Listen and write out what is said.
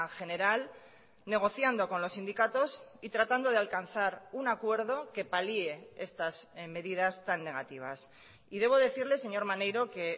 general negociando con los sindicatos y tratando de alcanzar un acuerdo que palie estas medidas tan negativas y debo decirle señor maneiro que